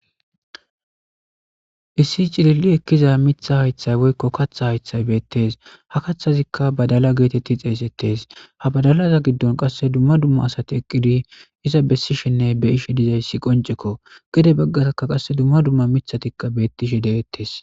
Issi Cilili Ekiza Miththa Haytha Woyko Kaththa Hayththay Beetes Kaththazika Badala Geteti Xesetes Ha Badalaza Gidon Qase Dumma Dumma Asati Eqidi Iza Besishenne Be'ishe Dizaysi Qonceko Gede Bagaraka Qase Dumma Dumma Miththatika Betishe De'etes